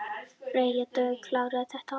Freyja Dögg: Klárast þetta alltaf?